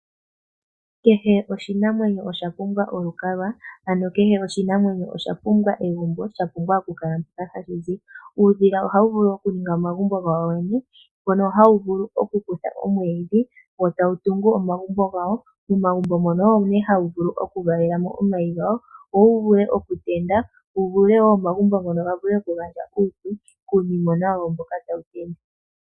Kehe oshinamwenyo osha pumbwa olukalwa, ano kehe oshinamwenyo osha pumbwa egumbo. Sha pumbwa okukala mpoka hashi zi. Uudhila ohawu vulu okuninga omagumbo gawo yene, mpono hawu vulu okukutha omwiidhi wo tawu tungu omagumbo gawo. Momagumbo mono omo nee hawu vulu okuvalela mo omayi gawo, opo wu vule okutendula, omagumbo ngoka ga vule okugandja uupyu kuunimona wawo mboka tawu tendulwa.